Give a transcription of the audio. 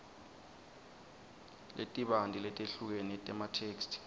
letibanti letehlukene tematheksthi